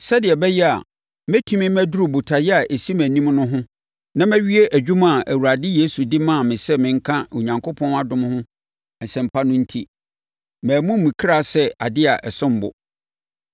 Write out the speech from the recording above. Sɛdeɛ ɛbɛyɛ a, mɛtumi maduru botaeɛ a ɛsi mʼanim no ho na mawie dwuma a Awurade Yesu de maa me sɛ menka Onyankopɔn dom ho asɛmpa no enti, mammu me kra sɛ adeɛ a ɛsom bo.